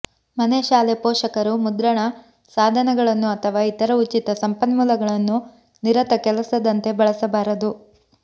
ಮನೆಶಾಲೆ ಪೋಷಕರು ಮುದ್ರಣ ಸಾಧನಗಳನ್ನು ಅಥವಾ ಇತರ ಉಚಿತ ಸಂಪನ್ಮೂಲಗಳನ್ನು ನಿರತ ಕೆಲಸದಂತೆ ಬಳಸಬಾರದು